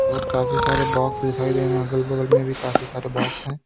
और काफी सारे बॉक्स दिखाई दे अगल बगल में भी काफी सारे बॉक्स हैं।